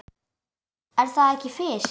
Er það ekki Fis?